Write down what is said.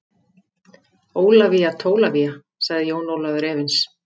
Ólafía Tólafía, sagði Jón Ólafur efins.